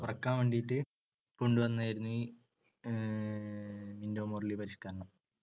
കുറക്കാൻ വേണ്ടീട്ട് കൊണ്ടുവന്നതായിരുന്നു ഈ~ മിൻറ്റോ മോർലി പരിഷ്‌ക്കരണം.